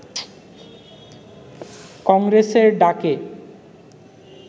কংগ্রেসের ডাকে